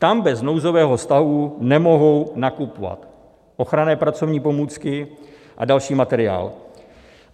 Tam bez nouzového stavu nemohou nakupovat ochranné pracovní pomůcky a další materiál.